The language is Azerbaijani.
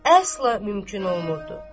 Əsla mümkün olmurdu.